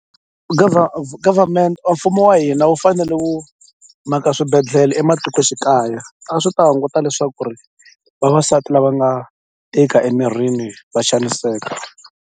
government a mfumo wa hina wu fanele wu maka swibedhlele ematikoxikaya a swi ta hunguta leswaku ri vavasati lava nga tika emirini va xaniseka.